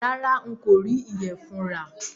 Rárá, n kò rí ìyẹ̀fun rà